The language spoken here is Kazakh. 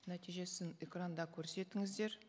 нәтижесін экранда көрсетіңіздер